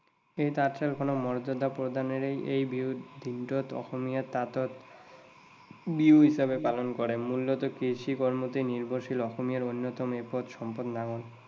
এই তাঁতশালখনৰ মৰ্য্যাদা প্ৰদানেৰে এই দিনটোত অসমীয়া সকলে তাঁতৰ বিহু হিচাপে পালন কৰে। মূলত কিছু কাৰণতেই নিৰ্ভৰশীল অসমীয়াৰ অন্যতম এপদ সম্পদ নাঙল।